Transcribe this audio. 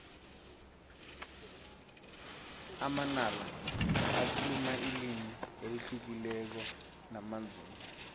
amanala bakhuluma ilimi elihlukileko namanzunza